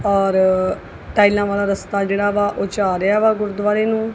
ਔਰ ਟਾਈਲਾਂ ਵਾਲਾ ਰਸਤਾ ਜੇਹੜਾ ਵਾ ਓਹਚ ਆ ਰਿਹਾ ਵਾ ਗੁਰੂਦਵਾਰੇ ਨੂੰ।